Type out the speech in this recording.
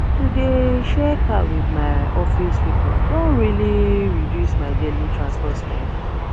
to dey share car with my office people don really reduce my daily transport spending